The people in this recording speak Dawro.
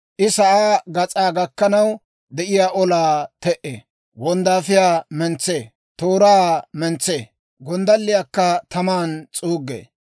I sa'aa gas'aa gakkanaw de'iyaa olaa te"ee; wonddaafiyaa mentsee; tooraa mentsee; gonddalliyaakka taman s'uuggee.